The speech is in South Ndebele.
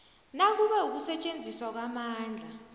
nakube ukusetjenziswa kwamandla